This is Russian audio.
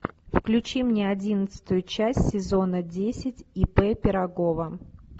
включи мне одиннадцатую часть сезона десять ип пирогова